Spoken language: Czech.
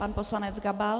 Pan poslanec Gabal.